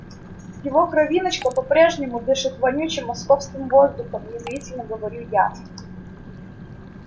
его кровиночка по-прежнему дышит вонючим московским воздухом независимо говорю я